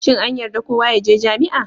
Shin an yarda kowa ya je jami'a?